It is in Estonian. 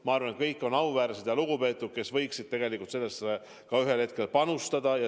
Ma arvan, et nad kõik on auväärsed ja lugupeetud inimesed, kes võiksid sellesse töösse ühel hetkel panustada.